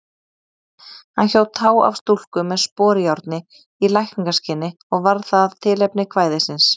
Hann hjó tá af stúlku með sporjárni í lækningaskyni og varð það tilefni kvæðisins.